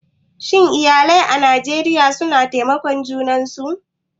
Shin iyalai a Najeriya suna taimakar junan su?